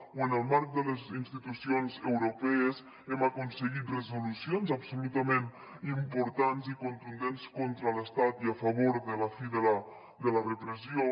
o en el marc de les institucions europees hem aconseguit resolucions absolutament importants i contundents contra l’estat i a favor de la fi de la repressió